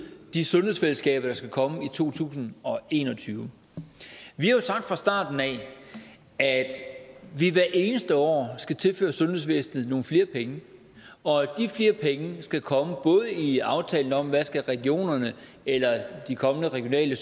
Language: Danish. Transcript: de sundhedsfællesskaber der skal komme i to tusind og en og tyve vi har jo sagt fra starten af at vi hvert eneste år skal tilføre sundhedsvæsenet nogle flere penge og at de flere penge skal komme både i aftalen om hvad regionerne eller de kommende regionale